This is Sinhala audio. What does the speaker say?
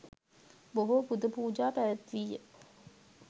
බොහෝ පුද පූජා පැවැත්වී ය.